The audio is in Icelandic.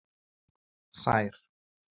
Sær